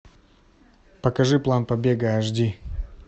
покажи план побега аш ди